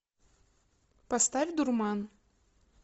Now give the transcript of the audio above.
поставь дурман